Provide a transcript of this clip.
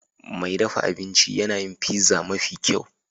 Mai dafa abinci yana yin pizza mafi kyau.